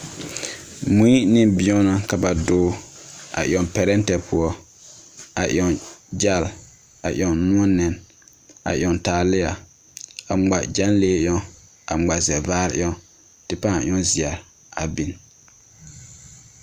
Mui ne bɛŋɛ ka ba doge a yaŋ pɛrɛtɛ poɔ. A yaŋ gyɛlɛ, a yaŋ noɔ nɛne, a yaŋ taalea, a ŋmaa gyanlee yaŋ, a ŋma sɛvaare yaŋ,, kyɛ paa yaŋ zeɛre.